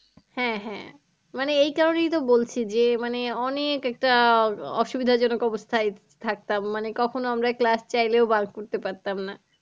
হ্যাঁ হ্যাঁ মানে এই কারনেই তো বলছি যে মানে অনেক একটা অসুবিধা জনক অবস্থায় থাকতাম। মানে কখনো আমরা class চাইলেও bunk করতে পারতাম না।